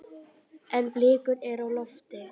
En blikur eru á lofti.